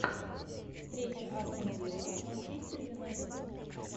встреча астон вилла манчестер юнайтед